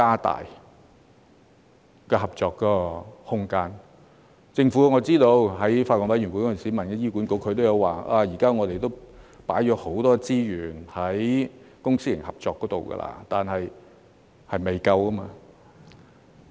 我知悉政府在法案委員會上曾詢問醫管局，他們表示已投放很多資源在公私營合作方面，但事實是仍未足夠。